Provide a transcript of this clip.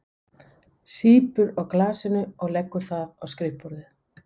Sýpur á glasinu og leggur það á skrifborðið.